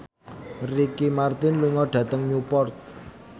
Ricky Martin lunga dhateng Newport